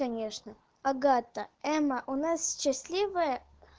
конечно агата эмма у нас счастливая